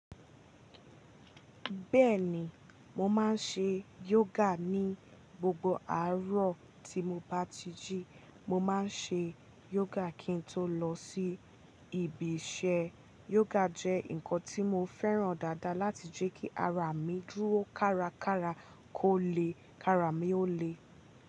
Bẹ́ẹ̀ni, mo máa ń ṣe yoga ní gbogbo àárọ̀ tí mo bá ti jí. Mo máa ń ṣe yoga kí n tó lọ sí ibi iṣẹ́. Yoga jẹ́ nǹkan tí mo fẹ́ràn dáadáa láti jẹ́ kí ara mi dúró kárakára kó le, kí ara mi ó le.